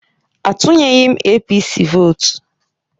Atunyeghị m APC vootu